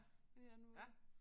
Det er nu